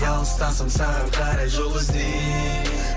алыстасың саған қарай жол іздеймін